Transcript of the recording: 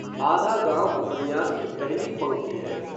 आधा गाँव उपन्यास की पहली पंक्ति है